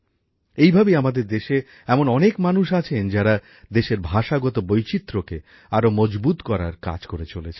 এইভাবেই আমাদের দেশে এমন অনেক মানুষ আছেন যারা দেশের ভাষাগত বৈচিত্র্যকে আরো মজবুত করার কাজ করে চলেছেন